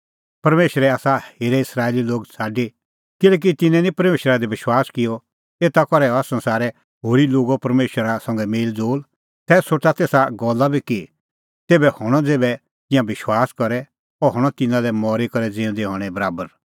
परमेशरै आसा हेरे इस्राएली लोग छ़ाडी किल्हैकि तिन्नैं निं परमेशरा दी विश्वास किअ एता करै हुअ संसारे होरी लोगो परमेशरा संघै मेल़ज़ोल़ तै सोठा तेसा गल्ला बी कि तेभै कै हणअ ज़ेभै तिंयां विश्वास करे अह हणअ तिन्नां लै मरी करै ज़िऊंदै हणैं बराबर